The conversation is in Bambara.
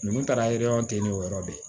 Ninnu taara ten n'o yɔrɔ bɛ yen